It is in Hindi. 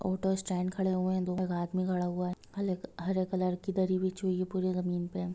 ऑटो स्टैन्ड खड़े हुए है| दो एक आदमी खड़ा हुआ है| हले हरे कलर की दरी बिछी हुई है पूरे जमीन पे ।